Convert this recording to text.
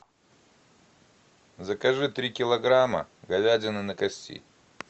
закажи три килограмма говядины на кости